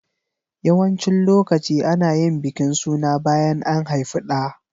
Yawancin lokaci ana yin bikin suna bayan an haifi ɗa.